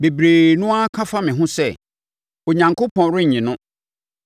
Bebree no ara ka fa me ho sɛ, “Onyankopɔn rennye no”.